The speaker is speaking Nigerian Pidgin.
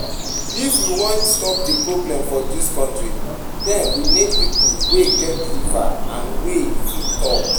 If we wan stop the problems for dis country den we need people wey get liver and wey fit talk